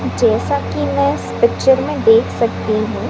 जैसा कि मैं इस पिक्चर में देख सकती हूं।